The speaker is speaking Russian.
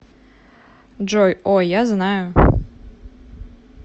джой о я знаю